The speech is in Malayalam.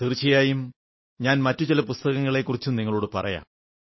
തീർച്ചയായും ഞാൻ മറ്റു ചില പുസ്തകങ്ങളെക്കുറിച്ചും നിങ്ങളോടു പറയാം